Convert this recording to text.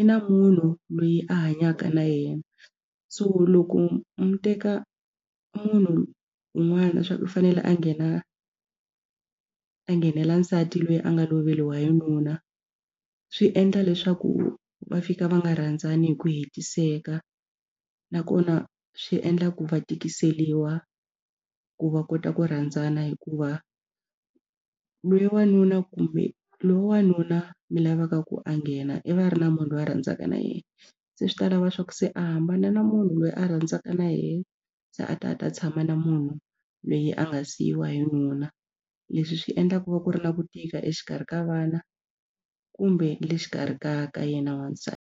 i na munhu loyi a hanyaka na yena so loko mu teka munhu un'wana swa ku i fanele a nghena a nghenela nsati loyi a nga loveriwa hi nuna swi endla leswaku va fika va nga rhandzani hi ku hetiseka nakona swi endla ku va tikiseliwa ku va kota ku rhandzana hikuva lweyi wanuna kumbe lo n'wanuna mi lavaka ku a nghena i va a ri na munhu loyi a rhandzaka na yena se swi ta lava swa ku se a hambana na munhu loyi a rhandzaka na yena se a ta a ta tshama na munhu lweyi a nga siyiwa hi nuna. Leswi swi endlaka ku va ku ri na ku tika exikarhi ka vana kumbe le xikarhi ka ka yena wasati.